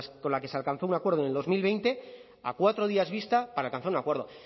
con la que se alcanzó un acuerdo en el dos mil veinte a cuatro días vista para alcanzar un acuerdo